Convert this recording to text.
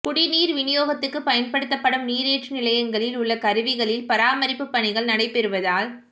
குடிநீா் விநியோகத்துக்கு பயன்படுத்தப்படும் நீரேற்று நிலையங்களில் உள்ள கருவிகளில் பராமரிப்புப் பணிகள் நடைபெறுவதால்